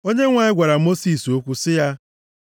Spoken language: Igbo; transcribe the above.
Onyenwe anyị gwara Mosis okwu sị ya,